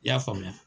I y'a faamuya